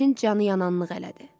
Elçin canıyananlıq elədi.